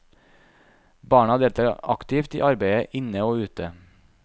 Barna deltar aktivt i arbeidet inne og ute.